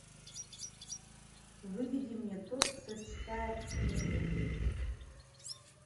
выведи мне тот кто читает мысли